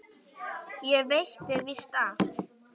Ekki veitti víst af.